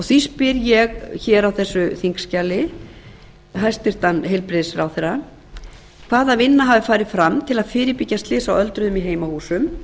því spyr ég á þessu þingskjali hæstvirtur heilbrigðisráðherra fyrstu hvaða vinna hefur farið fram til að fyrirbyggja slys á öldruðum í heimahúsum